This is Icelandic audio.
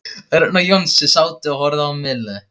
Örn og Jónsi sátu og horfðu á Millu.